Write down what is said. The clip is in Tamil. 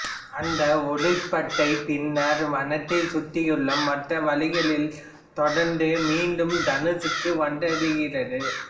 அந்த ஒளிர்பட்டை பின்னர் வானத்தைச் சுற்றியுள்ள மற்ற வழிகளில் தொடர்ந்து மீண்டும் தனுசுக்கு வந்தடைகிறது